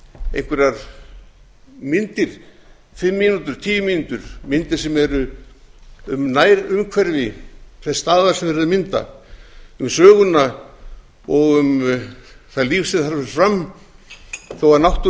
einhverjar myndir fimm mínútur tíu mínútur myndir sem eru um nærumhverfi þess staðar sem verið er að mynda um söguna og um það líf sem þar fer fram þó